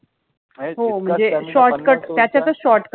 हो मनजे shortcut त्याच्यातच shortcut